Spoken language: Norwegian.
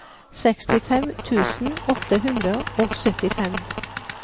sekstifem tusen åtte hundre og syttifem